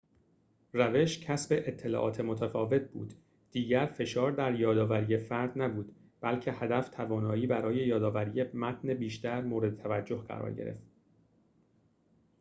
روش کسب اطلاعات متفاوت بود دیگر فشار در یادآوری فردی نبود بلکه هدف توانایی برای یادآوری متن بیشتر مورد توجه قرار گرفت